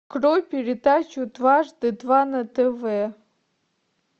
открой передачу дважды два на тв